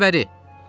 Gəl bəri!